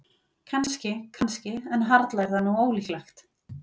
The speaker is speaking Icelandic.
Kannski, kannski- en harla er það nú ólíklegt.